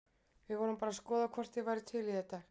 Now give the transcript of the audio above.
Við vorum bara að skoða hvort þeir væru til í þetta.